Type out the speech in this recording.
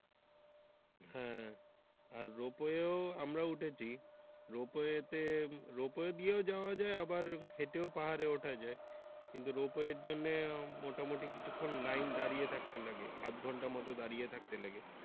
হ্যা আর Ropeway এ আমরাও উঠেছি Ropeway তে Ropeway দিয়েও যাওয়া যায় আবার হেটেও পাহাড়ে ওঠা যায় কিন্তু Ropeway চড়লে মোটামুটি কিছুক্ষণ লাইনে দাঁড়িয়ে থাকতে লাগে আধ ঘন্টার মত দাঁড়িয়ে থাকতে লাগে।